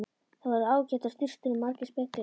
Þar voru ágætar sturtur og margir speglar!